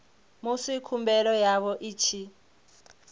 musi khumbelo yavho i tshi